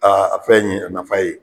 Aa a fɛn nin ye a na ye